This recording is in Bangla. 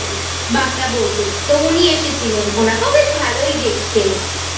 বাংলা বইতে। তো উনি এসেছিলেন। ওনাকেও বেশ ভালোই দেখতে